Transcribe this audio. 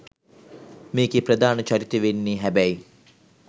මේකේ ප්‍රධාන චරිතේ වෙන්නේ හැබැයි